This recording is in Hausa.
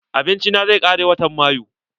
Abinci na zai kare watan mayu.